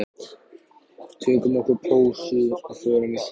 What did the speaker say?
Tökum okkur pásu og förum í sund.